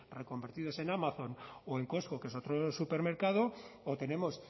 reconvertidos en amazon o en costco que es otro supermercado o tenemos